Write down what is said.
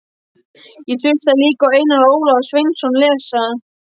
Ég hlustaði líka á Einar Ólaf Sveinsson lesa